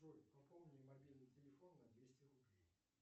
джой пополни мобильный телефон на двести рублей